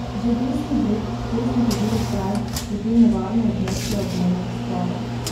Že desni breg, kjer smo hodili zdaj, je bil nevarno območje obmejnih sporov.